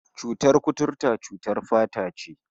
Cutar kuturta cutar fata ce